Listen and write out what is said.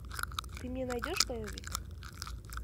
ты мне найдешь боевик